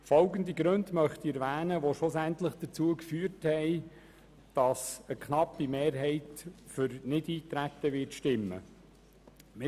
Folgende Gründe haben schliesslich dazu geführt, dass eine knappe Mehrheit für Nichteintreten stimmen wird: